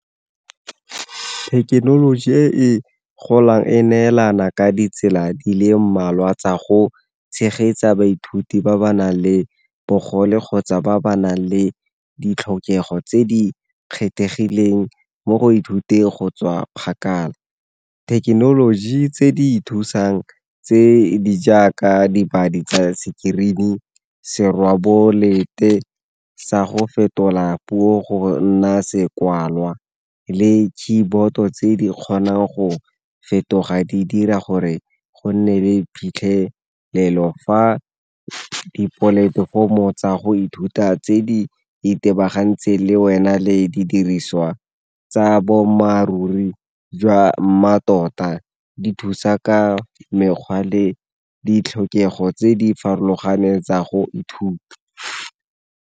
Thekenoloji e e golang e neelana ka ditsela di le mmalwa tsa go tshegetsa baithuti ba ba nang le bogole kgotsa ba ba nang le ditlhokego tse di kgethegileng mo go ithuteng go tswa kgakala. Thekenoloji tse di ithusang tse di jaaka dipadi tsa screen-e, serweboleta sa go fetola puo go nna sekwalelwa, le keyboard-to tse di kgonang go fetoga di dira gore go nne le phitlhelelo fa dipolatefomo tsa go ithuta tse di itebagantseng le wena le di diriswa tsa boammaaruri jwa mmatota, di thusa ka mekgwa le ditlhokego tse di farologaneng tsa go ithuta.